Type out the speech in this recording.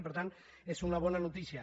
i per tant és una bona notícia